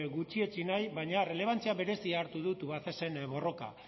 gutxietsi nahi baina errelebantzia berezia hartu du tubacexen borroka